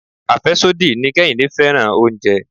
Afesodi ni Kehinde fẹ́ràn oúnjẹ.